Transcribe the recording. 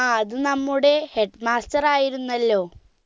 ആ അത് നമ്മുടെ headmaster ആയിരുന്നല്ലോ